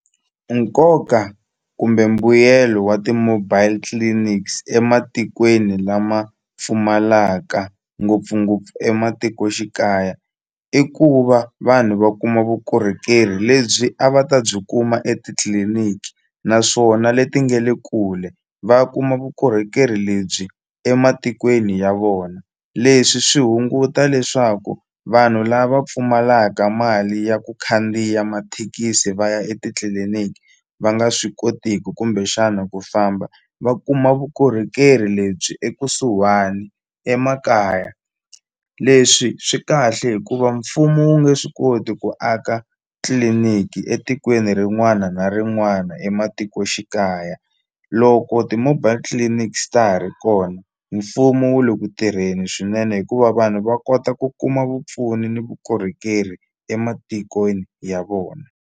Nkoka kumbe mbuyelo wa ti-mobile clinics ematikweni lama pfumalaka ngopfungopfu ematikoxikaya i ku va vanhu va kuma vukorhokeri lebyi a va ta byi kuma etitliliniki naswona leti nga le kule va kuma vukorhokeri lebyi ematikweni ya vona leswi swi hunguta leswaku vanhu lava pfumalaka mali ya ku khandziya mathekisi va ya etitliliniki va nga swi kotiku kumbexana ku famba va kuma vukorhokeri lebyi ekusuhani emakaya leswi swi kahle hikuva mfumo wu nge swi koti ku aka tliliniki etikweni rin'wana na rin'wana ematikoxikaya loko ti-mobile clinics ta ha ri kona mfumo wu le ku tirheni swinene hikuva vanhu va kota ku kuma vupfuni ni vukorhokeri ematikweni ya vona.